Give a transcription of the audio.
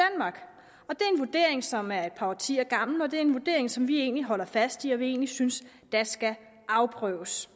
er en vurdering som er et par årtier gammel og det er en vurdering som vi vi holder fast i og som vi egentlig synes skal afprøves